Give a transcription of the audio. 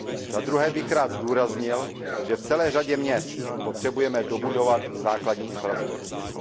Za druhé bych rád zdůraznil, že v celé řadě měst potřebujeme dobudovat základní infrastrukturu.